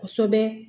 Kosɛbɛ